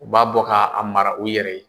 U b'a bɔ k'a mara u yɛrɛ ye